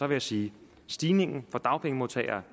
jeg sige at stigningen for dagpengemodtagere